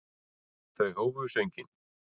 Þau hófu sönginn.